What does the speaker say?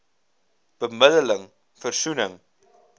bemidde ling versoening